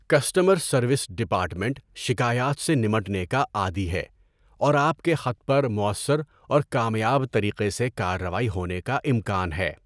Customer service department شکایات سے نمٹنے کا عادی ہے اور آپ کے خط پر مؤثر اور کامیاب طریقے سے کارروائی ہونے کا امکان ہے۔